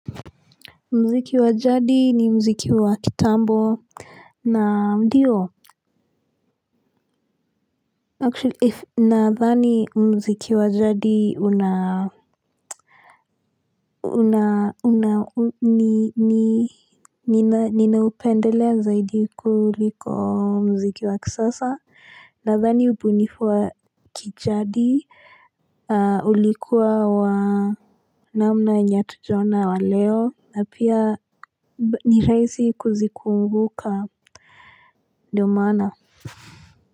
Mziki wajadi ni mziki wakitambo na ndiyo. Actually, if nathani mziki wajadi inaa ninaupendelea zaidi kuliko mziki wakisasa, nathani ubunifu wa kijadi, ulikuwa wa namna yenye hatujaona wa leo, na pia niraisi kuzikumbuka ndio maana.